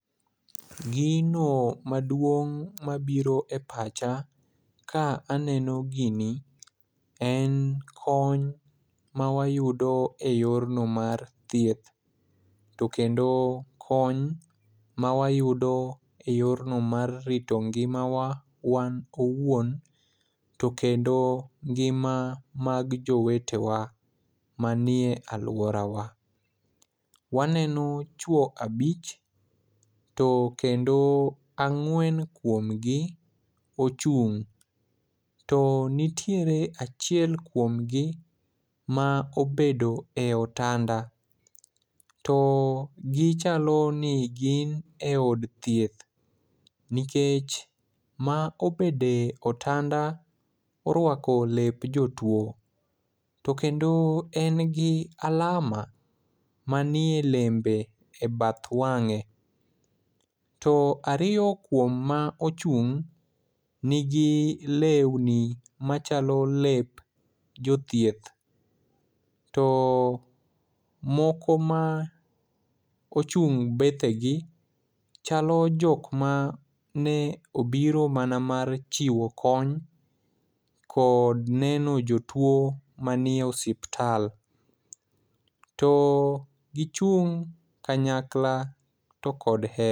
Gino maduong' mabiro e pacha ka aneno gini en kony mawayudo e yorno mar thieth. To kendo kony ma wayudo e yorno mar rito ngimawa wan owuon, to kendo ngima mag jowete wa manie alworawa. Waneno chwo abich, to kendo, ang'wen kuom gi ochung', to nitiere achiel kuom gi ma obedo e otanda. To gichalo ni gin e od thieth, nikech ma obede otanda, orwako lep jotwo. To kendo en gi alama manie lembe, e bath wang'e. To ariyo kuom ma ochung', nigi lewni machalo lep jothieth. To moko ma ochung' bethe gi, chalo jok ma ne obiro mana mar chiwo kony kod neno jotwo manie osiptal. To gichung' kanyakla to kod